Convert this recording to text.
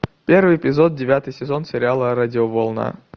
первый эпизод девятый сезон сериала радиоволна